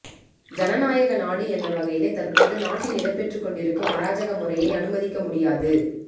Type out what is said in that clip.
ஜனநாயக நாடு என்ற வகையிலே தற்போது நாட்டில் இடம்பெற்றுக்கொண்டிருக்கும் அராஜக முறையை அனுமதிக்க முடியாது